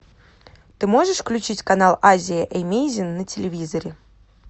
ты можешь включить канал азия эмейзин на телевизоре